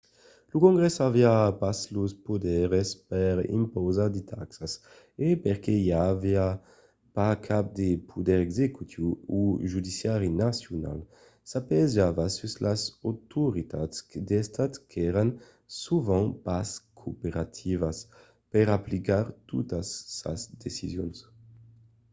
lo congrès aviá pas los poders per impausar de taxas e perque i aviá pas cap de poder executiu o judiciari nacional s'apiejava sus las autoritats d'estat qu'èran sovent pas cooperativas per aplicar totas sas decisions